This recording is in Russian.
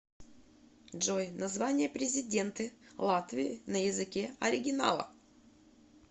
джой название президенты латвии на языке оригинала